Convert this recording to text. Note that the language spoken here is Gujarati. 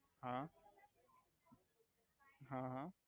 હા હા હા